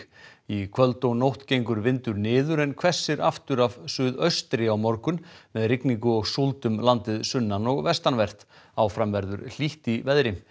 í kvöld og nótt gengur vindur niður en hvessir aftur af suðaustri á morgun með rigningu og súld um landið sunnan og vestanvert áfram verður hlýtt í veðri